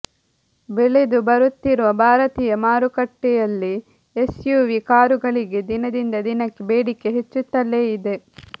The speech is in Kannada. ಬೆಳೆದು ಬರುತ್ತಿರುವ ಭಾರತೀಯ ಮಾರುಕಟ್ಟೆಯಲ್ಲಿ ಎಸ್ಯುವಿ ಕಾರುಗಳಿಗೆ ದಿನದಿಂದ ದಿನಕ್ಕೆ ಬೇಡಿಕೆ ಹೆಚ್ಚುತ್ತಲೇ ಇದೆ